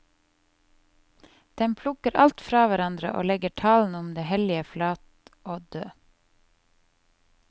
Den plukker alt fra hverandre og legger talen om det hellige flat og død.